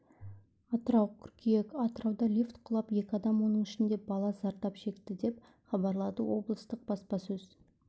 атырау қыркүйек атырауда лифт құлап екі адам оның ішінде бала зардап шекті деп хабарлады облыстық баспасөз